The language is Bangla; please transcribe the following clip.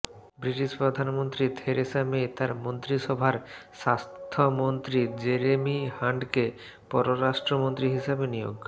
ব্রিটিশ প্রধানমন্ত্রী থেরেসা মে তার মন্ত্রিসভার স্বাস্থ্যমন্ত্রী জেরেমি হান্টকে পররাষ্ট্রমন্ত্রী হিসেবে নিয়োগ